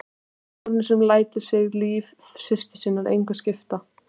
Konu sem lætur sig líf systur sinnar engu skipta.